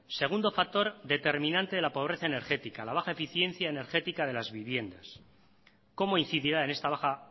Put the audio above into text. segundo factor determinante de la pobreza energética la baja eficiencia energética de las viviendas cómo incidirá en esta baja